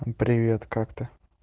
мм привет как ты